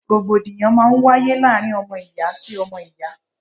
Rògbòdìyàn máa ń wáyé láàárín ọmọ ìyá sí ọmọ ìyá.